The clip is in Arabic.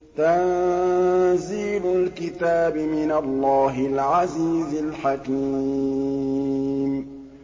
تَنزِيلُ الْكِتَابِ مِنَ اللَّهِ الْعَزِيزِ الْحَكِيمِ